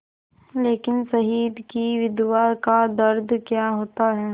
लेकिन शहीद की विधवा का दर्द क्या होता है